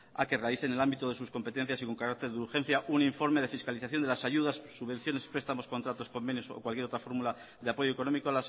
a que realice en el ámbito de sus competencias y con carácter de urgencia un informe de fiscalización de las ayudas subvenciones prestamos contratos convenios o cualquier otra fórmula de apoyo económico